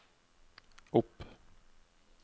opp